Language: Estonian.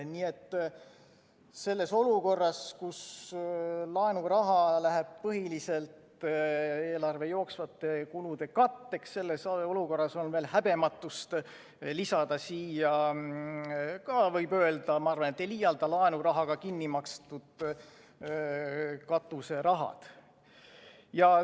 Nii et selles olukorras, kus laenuraha läheb põhiliselt eelarve jooksvate kulude katteks, on veel häbematust lisada siia ka, võib öelda – ma arvan, et ei liialda –, laenurahaga kinni makstud katuserahad.